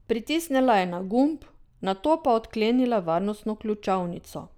Pritisnila je na gumb, nato pa odklenila varnostno ključavnico.